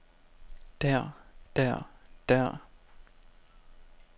der der der